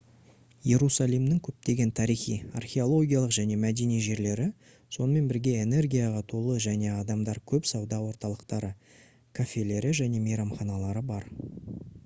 иерусалимның көптеген тарихи археологиялық және мәдени жерлері сонымен бірге энергияға толы және адамдар көп сауда орталықтары кафелері және мейрамханалары бар